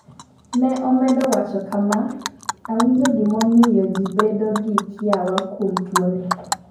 Ne omedo wacho kama: ''Awinjo gimomiyo ji bedo gi kiawa kuom tuo ni.